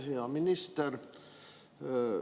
Hea minister!